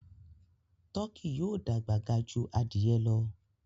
Tọki yóò dàgbà gà jù adìye lọ.